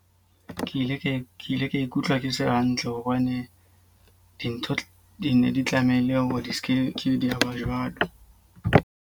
Ke ile ke ile ka ikutlwa ke se hantle hobane dintho di ne di tlamehile hore di seke ke di a ba jwalo.